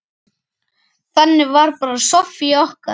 Þannig var bara Soffía okkar.